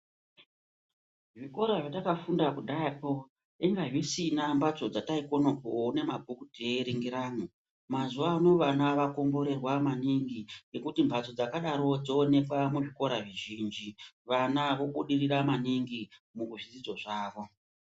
Zvikora zvatakafunda kudhaya poo inga dzisina mbatso dzataikona kuone mabhuku teirengeramwo, mazuvano vana takomborerwa maningi ngekuti mbatso dzakadaro dzoonekwa muzvikora zvizhinji, vana vobudirira maningi muzvidzidzo zvavo.